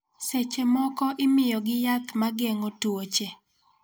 Seche moko imiyogi yath ma geng�o tuoche.